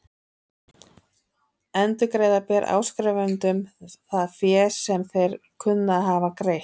Endurgreiða ber áskrifendum það fé sem þeir kunna að hafa greitt.